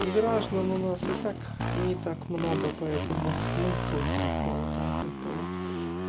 граждан у нас и так не так много поэтому смысл какой-то от этого